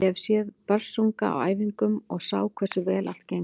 Ég hef séð Börsunga á æfingum og ég sá hversu vel allt gengur.